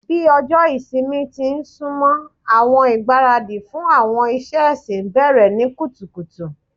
Bi ọjọ ìsinmi ti n sunmọ, awọn igbaradi fun awọn iṣẹ ẹsin bẹrẹ ni kutukutu